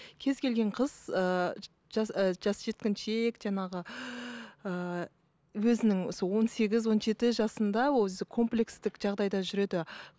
кез келген қыз ыыы жас ы жас жеткіншек жаңағы ыыы өзінің сол он сегіз он жеті жасында өзі комплекстік жағдайда жүреді